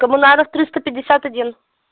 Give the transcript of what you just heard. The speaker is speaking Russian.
коммунаров триста пятьдесят один